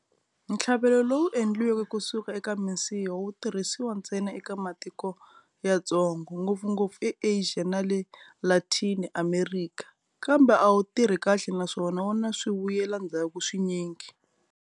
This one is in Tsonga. Ntlhavelo lowu endliweke kusuka eka misiha wu tirhisiwa ntsena eka matiko yatsongo, ngopfungopfu eAsia na le Latini Amerika, kambe a wu tirhi kahle naswona wu na swivuyelandzhaku swinyingi.